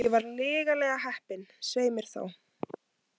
Ég var lygilega heppin, svei mér þá.